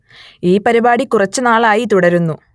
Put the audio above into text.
ഈ പരിപാടി കുറച്ചു നാൾ ആയി തുടരുന്നു